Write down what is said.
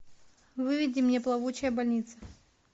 выведи мне плавучая больница